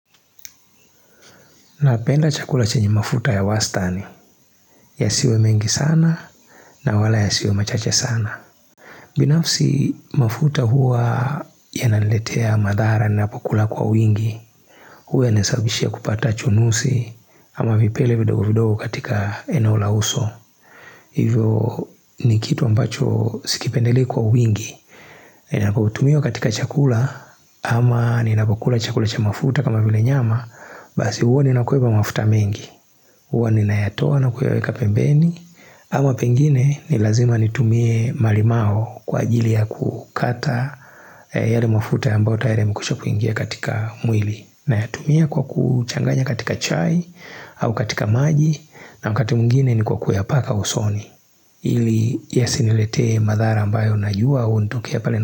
Na penda chakula chenye mafuta ya wastani Yasiwe mengi sana na wala ya siwe machache sana binafsi mafuta huwa ya naletea madhara ninapokula kwa wingi huwa inasababishia kupata chunusi ama vipele vidogo vidogo katika eno la uso Hivyo ni kitu ambacho sikipendelei kwa wingi ni nakautumia katika chakula ama ni napokula chakula cha mafuta kama vile nyama Basi huwa ni nakoeba mafuta mengi hUwa ni nayatoa na kuyaweka pembeni ama pengine ni lazima nitumie malimau kwa ajili ya kukata yale mafuta ambao tayari yamekwisha kuingia katika mwili na yatumia kwa kuchanganya katika chai au katika maji na wakati mwingine ni kwa kuya paka usoni ili yasiniletee madhara ambayo najua Huonitokea pale na.